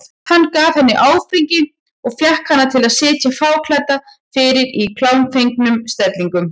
Hann gaf henni áfengi og fékk hana til að sitja fáklædda fyrir í klámfengnum stellingum.